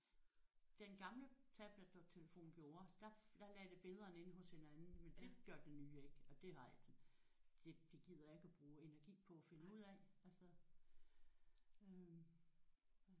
Den gamle tablet og telefon gjorde. Der der lagde de billederne ind hos hinanden men det gør den nye ikke og det har jeg det det gider jeg ikke bruge energi på at finde ud af altså